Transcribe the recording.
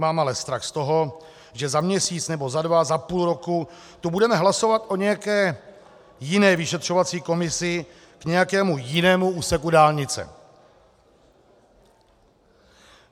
Mám ale strach z toho, že za měsíc nebo za dva, za půl roku tu budeme hlasovat o nějaké jiné vyšetřovací komisi k nějakému jinému úseku dálnice.